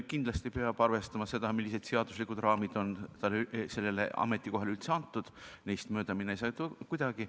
Kindlasti peab arvestama seda, millised seaduslikud raamid on sellele ametikohale üldse pandud, neist mööda minna ei saa kuidagi.